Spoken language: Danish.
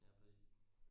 Ja præcis